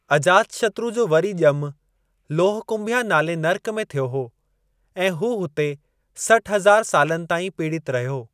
अजातशत्रु जो वरी ज॒मु 'लोहकुंभिया' नाले नर्क में थियो हो ऐं हू हुते सठु हज़ारु सालनि ताईं पीड़ित रहियो।